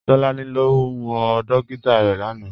Tolani lọ wọ dòkìtà rẹ lánà.